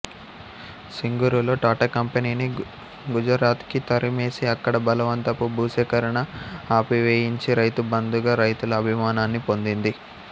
సింగూరులో టాటా కంపెనీని గుజరాత్కి తరిమేసి అక్కడి బలవంతపు భూసేకరణను ఆపివేయించి రైతు బంధుగా రైతుల అభిమానాన్ని పొందింది